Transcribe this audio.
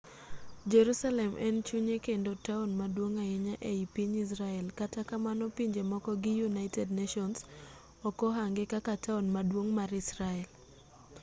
jerusalem en chunye kendo taon maduong' ahinya e i piny israel kata kamano pinje moko gi united nations ok ohange kaka taon maduong' mar israel